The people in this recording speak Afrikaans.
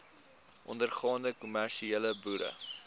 ondergaande kommersiële boere